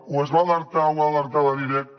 o es va alertar ho va alertar a la directa